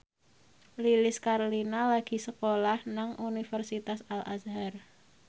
Lilis Karlina lagi sekolah nang Universitas Al Azhar